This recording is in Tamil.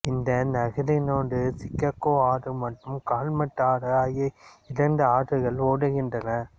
இந்நகரினூடே சிகாகோ ஆறு மற்றும் காலுமட் ஆறு ஆகிய இரண்டு ஆறுகள் ஓடுகின்றன